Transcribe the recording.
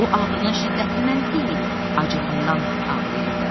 O ağrının şiddətindən deyil, acığından ağlayırdı.